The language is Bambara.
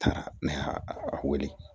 Taara ne y'a a wele